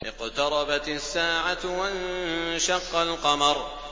اقْتَرَبَتِ السَّاعَةُ وَانشَقَّ الْقَمَرُ